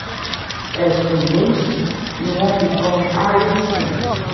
ẹ̀sùn méjì ni wọ́n fi kan harrison